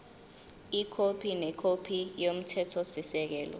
ikhophi nekhophi yomthethosisekelo